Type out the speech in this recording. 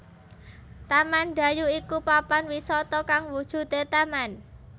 Taman Dayu iku papan wisata kang wujude taman